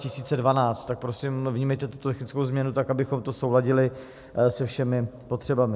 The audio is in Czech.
Tak prosím, vnímejte tuto technickou změnu tak, abychom to zesouladili se všemi potřebami.